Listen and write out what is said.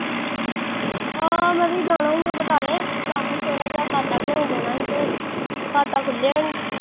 ਹਾਂ ਮੈਂ ਵੀ ਜਾਣਾ ਈ ਓ ਬਟਾਲੇ, ਕੰਮ ਸੀ ਥੋੜਾ ਜਿਹਾ, ਖਾਤਾ ਖੁਲਾਉਣ ਜਾਣਾ ਸੀ ਤੇ ਖਾਤਾ ਖੁੱਲਿਆ ਨੀ